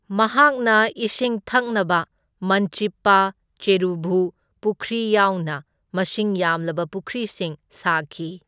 ꯃꯍꯥꯛꯅ ꯏꯁꯤꯡ ꯊꯛꯅꯕ ꯃꯟꯆꯤꯞꯄꯥ ꯆꯦꯔꯨꯚꯨ ꯄꯨꯈ꯭ꯔꯤ ꯌꯥꯎꯅ ꯃꯁꯤꯡ ꯌꯥꯝꯂꯕ ꯄꯨꯈ꯭ꯔꯤꯁꯤꯡ ꯁꯥꯈꯤ꯫